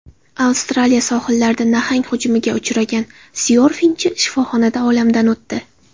Avstraliya sohillarida nahang hujumiga uchragan syorfingchi shifoxonada olamdan o‘tdi.